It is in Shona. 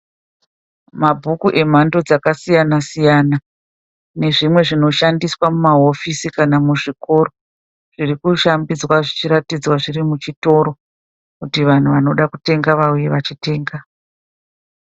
Mabhuku emhando dzakasiyana siyana nezvimwe zvinoshandiswa mumahofisi kana muzvikoro zviri kushambidzwa zvichiratidzwa zviri muchitoro kuti vanhu vanoda kutenga vauye vachitenga.